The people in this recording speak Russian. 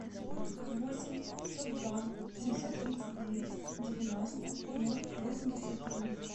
восемь пятьсот два семьсот тридцать девять девяносто ноль восемьдесят три